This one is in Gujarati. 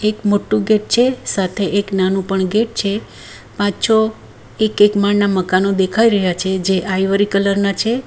એક મોટો ગેટ છે સાથે એક નાનો પણ ગેટ છે પાંચ છ એક એક માળના મકાનો દેખાઈ રહ્યા છે જે આઈવરી કલર ના છે.